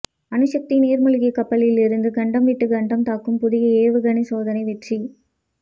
அணுசக்தி நீர்மூழ்கி கப்பலில் இருந்து கண்டம் விட்டு கண்டம் தாக்கும் புதிய ஏவுகணை சோதனை வெற்றி